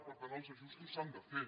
per tant els ajustos s’han de fer